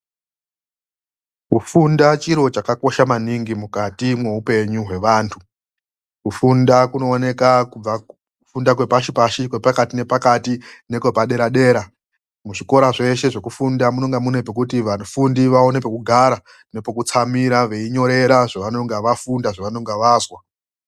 Kufunda chiro chakosha maningi mukati mwoupenyu hwevantu. Kufunda kuooneka kubva mukufunda zvepashi pashi ,kwepakati nekwepadera dera. Muzvikora zveshe zvekufunda munenge mune pekuti vafundi vaone pekugara nepekutsamira veinyorera zvavanenge vafunda zvavanenge vazwa.